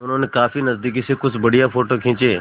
उन्होंने काफी नज़दीक से कुछ बढ़िया फ़ोटो खींचे